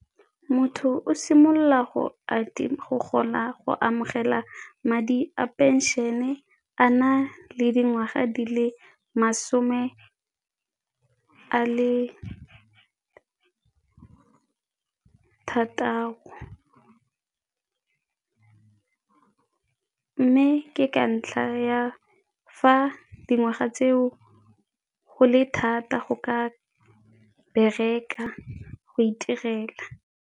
Motho o simolola go amogela madi a phenšene a na le dingwaga di le masome a le thataro. Mme ke ka ntlha ya fa dingwaga tseo go le thata go ka bereka, go itirela.